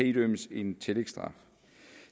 idømmes en tillægsstraf